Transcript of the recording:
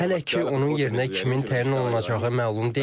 Hələ ki onun yerinə kimin təyin olunacağı məlum deyil.